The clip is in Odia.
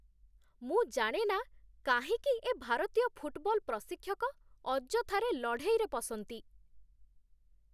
ମୁଁ ଜାଣେ ନା କାହିଁକି ଏ ଭାରତୀୟ ଫୁଟବଲ ପ୍ରଶିକ୍ଷକ ଅଯଥାରେ ଲଢ଼େଇରେ ପଶନ୍ତି।